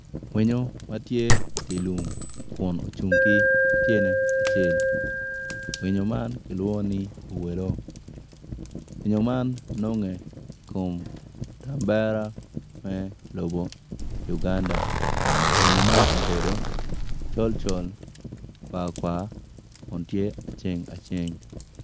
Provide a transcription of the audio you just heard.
Winyo ma tye idye lum kun ocung ki tye acel winyo man kilwongo ni owelo winyo man nonge i kom kitambara me lobo Uganda winyo man obedo colcol kwarkwar kun tye aceng aceng.